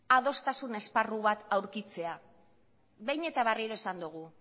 adostasun esparru bat aurkitzea behin eta berriro esan dugu